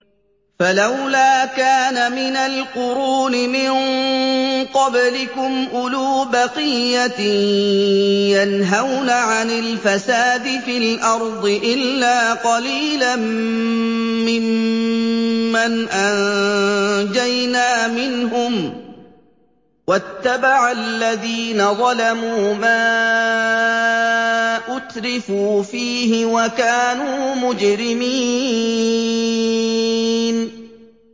فَلَوْلَا كَانَ مِنَ الْقُرُونِ مِن قَبْلِكُمْ أُولُو بَقِيَّةٍ يَنْهَوْنَ عَنِ الْفَسَادِ فِي الْأَرْضِ إِلَّا قَلِيلًا مِّمَّنْ أَنجَيْنَا مِنْهُمْ ۗ وَاتَّبَعَ الَّذِينَ ظَلَمُوا مَا أُتْرِفُوا فِيهِ وَكَانُوا مُجْرِمِينَ